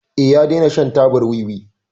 Eh, ya dena shan tabar wiwi.